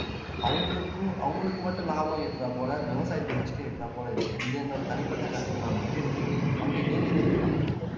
அவங்களுக்கும் அவங்களுக்கு மட்டும் லாபம் ஈற்றாப் போல விவசாயத்துக்கு நஷ்டம் ஈற்றாப் போல இருக்கு இது என்னோட தனிப்பட்ட கருத்துதான் மகேஷ் மங்கை நீங்க இதை எப்படி பார்க்கறீங்க